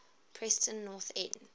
preston north end